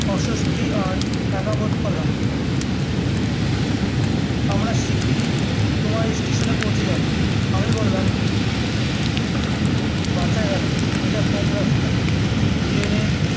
অস্বস্তি আর একা বোধ করলাম আমরা শিগগিরি তোমার এই station এ পৌঁছে যাবো আমি বললাম বাঁচা গেলো এটা কম রাস্তা train এ